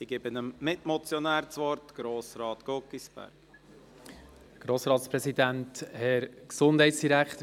Ich gebe dem Mitmotionär das Wort, Grossrat Guggisberg.